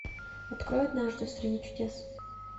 открой однажды в стране чудес